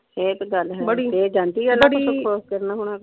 ਇਹ ਕੋਇ ਗੱਲ ਹੈ ਇਹ ਜਾਂਦੀ .